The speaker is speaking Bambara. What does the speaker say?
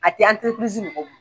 A tɛ anterepirizi mɔgɔ bolo.